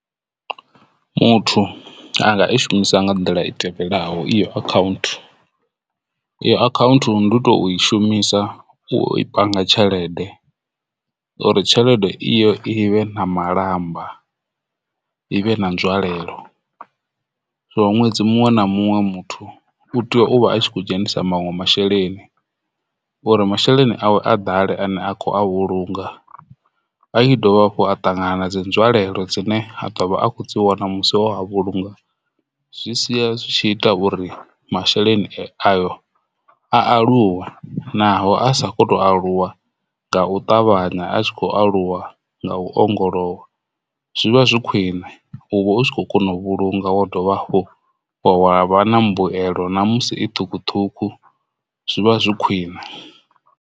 Muthu anga i shumisa nga nḓila i tevhelaho iyo account iyo account ndi to i shumisa u i panga tshelede uri tshelede iyo ivhe na malamba ivhe na nzwalelo so ṅwedzi muṅwe na muṅwe muthu u tea uvha a kho dzhenisa manwe masheleni uri masheleni awe a ḓale ane a kho a vhulunga a i dovha hafhu a ṱangana dzi nzwalelo dzine ha ḓovha a kho dzi wana musi o ha vhulunga, zwi sia zwi tshi ita uri masheleni ayo a aluwe naho a sa khou tou aluwa nga u ṱavhanya a tshi khou aluwa nga u ongolowa. Zwivha zwi khwiṋe u vha u tshi khou kona u vhulunga wa dovha hafhu wa wa vha na mbuelo na musi i thukhuthukhu, zwi vha zwi khwiṋe.